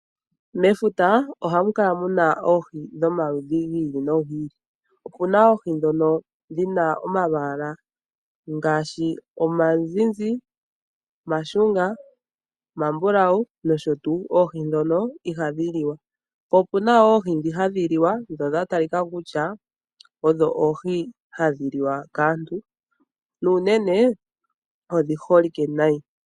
Mefuta ohamu kala muna oohi dhomaludhi gi ili nogi ili. Oohi odhina nee omalwaala gayoolokathana ngaashi opuna dhimwe oonzizi, ooshunga nosho woo oombulawu ashike oohi dhono ohadhi li wa, maala opuna woo oohi dhimwe dhoka hadhi li wa dho odhi holike kaantu nayi.